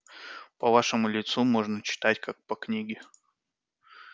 по вашему лицу можно читать как по книге